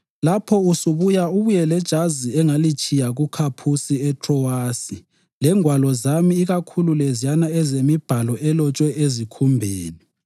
Lapho usubuya ubuye lejazi engalitshiya kuKhaphusi eTrowasi lengwalo zami ikakhulu leziyana ezemibhalo elotshwe ezikhumbeni.